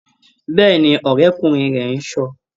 Bẹ́ẹ̀ni, ọ̀rẹ́kúnrin rẹ̀ ń ṣọ.